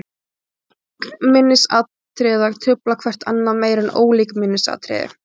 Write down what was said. Lík minnisatriði trufla hvert annað meira en ólík minnisatriði.